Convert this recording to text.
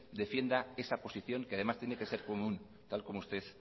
defienda esa posición que además tiene que ser común tal como usted